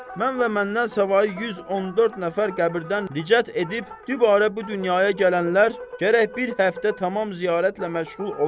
Mən və məndən savayı 114 nəfər qəbirdən ricət edib dübarə bu dünyaya gələnlər gərək bir həftə tamam ziyarətlə məşğul olaq.